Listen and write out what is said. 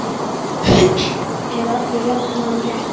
Eiga allir jafnan rétt?